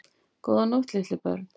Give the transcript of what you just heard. Góða nótt litlu börn.